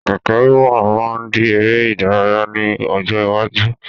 Kẹ̀kẹ́ wíwà máa di ère ìdárayá ni ọjọ́ iwájú